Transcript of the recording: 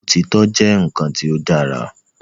Òtítọ́ jẹ́ nǹkan tí ó dára